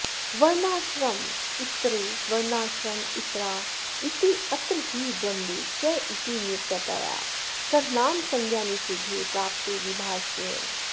वर्णाश्रमेतरे वर्णाश्रमेतरा इत्यत्र हि द्वन्द्वे चेति नित्यतया सर्वनामसंज्ञानिषेधे प्राप्ते विभाषेयम्